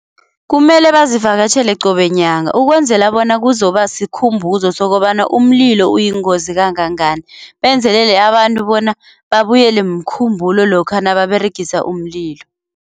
Kumele bazivakatjhele qobe nyanga ukwenzela bona kuzoba sikhumbo sokobana umlilo uyingozi kangangani benzelele abantu bona babuyele mkhumbulo lokha nababeregisa umlilo.